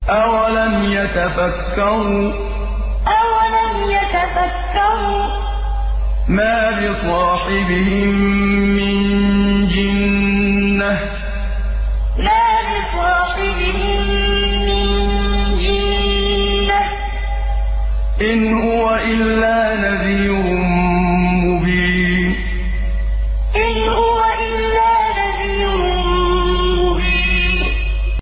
أَوَلَمْ يَتَفَكَّرُوا ۗ مَا بِصَاحِبِهِم مِّن جِنَّةٍ ۚ إِنْ هُوَ إِلَّا نَذِيرٌ مُّبِينٌ أَوَلَمْ يَتَفَكَّرُوا ۗ مَا بِصَاحِبِهِم مِّن جِنَّةٍ ۚ إِنْ هُوَ إِلَّا نَذِيرٌ مُّبِينٌ